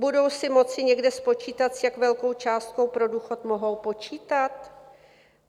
Budou si moci někde spočítat, s jak velkou částkou pro důchod mohou počítat?